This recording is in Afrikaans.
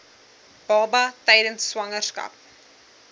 baba tydens swangerskap